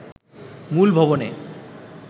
মূল ভবনে